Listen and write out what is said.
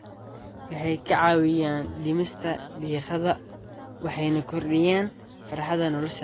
Waxay kaa caawiyaan dhimista diiqada waxayna kordhiyaan farxadda nolosha.